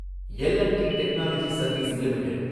L and T technology service limited